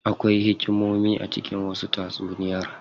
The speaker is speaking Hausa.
Akwai hikimomi a cikin wasu tatsuniyar.